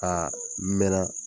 A a mɛna